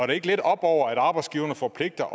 det ikke lidt oppe over at arbejdsgiverne forpligter